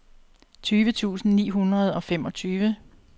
tyve tusind ni hundrede og femogtyve